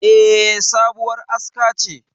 E, sabuwar aska ce.